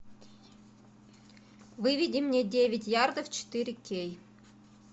выведи мне девять ярдов четыре кей